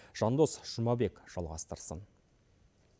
жандос жұмабек жалғастырсын